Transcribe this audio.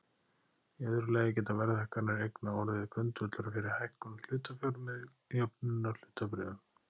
Í öðru lagi geta verðhækkanir eigna orðið grundvöllur fyrir hækkun hlutafjár með jöfnunarhlutabréfum.